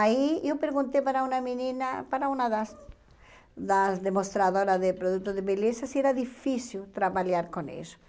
Aí eu perguntei para uma menina, para uma das das demonstradoras de produtos de beleza, se era difícil trabalhar com isso.